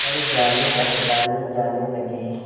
पर जानेपहचाने जाने लगे